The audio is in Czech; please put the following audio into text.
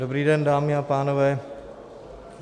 Dobrý den, dámy a pánové.